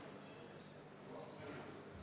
Istungi lõpp kell 13.05.